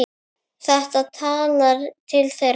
Þetta talar til þeirra.